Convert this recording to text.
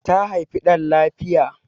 ta haifi dan lafiya